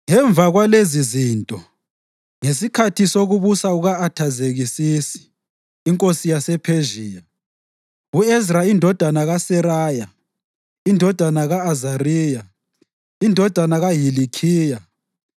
Ngemva kwalezizinto, ngesikhathi sokubusa kuka-Athazekisisi inkosi yasePhezhiya, u-Ezra indodana kaSeraya, indodana ka-Azariya, indodana kaHilikhiya,